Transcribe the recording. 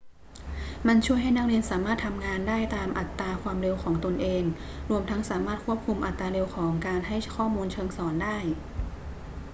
มันช่วยให้นักเรียนสามารถทำงานได้ตามอัตราความเร็วของตนเอง รวมทั้งสามารถควบคุมอัตราเร็วของการให้ข้อมูลเชิงสอนได้